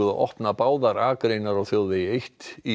að opna báðar akreinar á þjóðvegi eitt í